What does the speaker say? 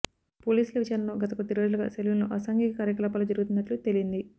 పోలీసుల విచారణలో గత కొద్దిరోజులుగా సెలూన్ లో అసాంఘిక కార్యకలాపాలు జరుగుతున్నట్లు తేలింది